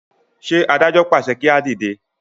ṣe adájọ pàṣẹ kí a dìde?